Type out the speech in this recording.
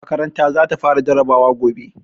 Makaranta za ta fara jarabawa gobe.